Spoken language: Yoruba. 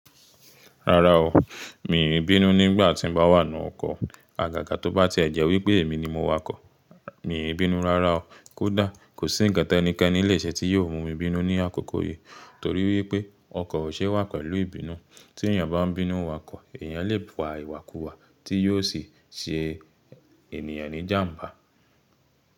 Rárá o, mi í bínú nígbà tí m bá wà nù ọkọ̀. Àgàgà tó bá ti ẹ̀ jẹ́ wípé èmi ni mo wakọ̀, mi i bínú rárá o. Kódà kò sí ǹkan tẹ́níkení lè ṣe tí yóò mú mi bínú ní àkókò yìí. Torí wípé ọkọ̀ ò ṣe wà pẹ̀lú ìbínú. Tí èyàn bá ń bínú wakọ̀, èyàn lè wa ìwàkuwà tí yóò sì ṣe ènìyàn ní jàmbá.